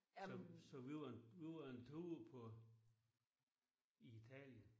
Så så vi var en vi var en tur på i Italien